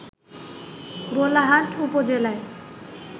ভোলাহাট উপজেলায়